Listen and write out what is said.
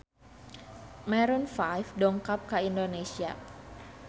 Maroon 5 dongkap ka Indonesia